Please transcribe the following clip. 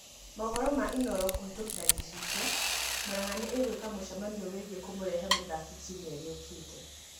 Maũhoro ma Inooro kũhĩtukĩra Gichichio, Muranga nĩ ĩgwika mũcemanio wĩgie kũmũrehe mũthaki kiumia gĩũkite.